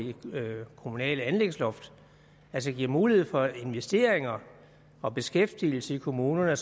kommunale anlægsloft altså give mulighed for investeringer og beskæftigelse i kommunerne